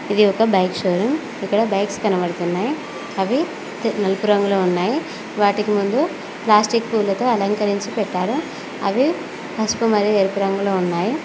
ఇది ఒక bike show room ఇక్కడ బైక్స్ కనబడుతున్నాయి అవి నలుపు రంగులో ఉన్నాయి వాటికి ముందు ప్లాస్టిక్ పూలతో అలంకరించి పెట్టారు అవి పసుపు మరియు ఎరుపు రంగులో ఉన్నాయి.